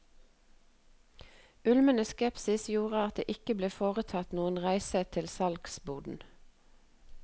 Ulmende skepsis gjorde at det ikke ble foretatt noen reise til salgsboden.